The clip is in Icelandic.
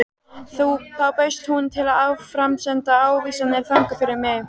Þá bauðst hún til að áframsenda ávísanirnar þangað fyrir mig.